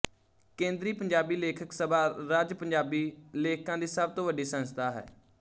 ਕੇਂਦਰੀ ਪੰਜਾਬੀ ਲੇਖਕ ਸਭਾ ਰਜਿ ਪੰਜਾਬੀ ਲੇਖਕਾਂ ਦੀ ਸਭ ਤੋਂ ਵੱਡੀ ਸੰਸਥਾ ਹੈ